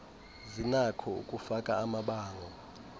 zinakho ukufaka amabango